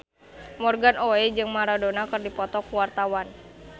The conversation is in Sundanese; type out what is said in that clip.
Morgan Oey jeung Maradona keur dipoto ku wartawan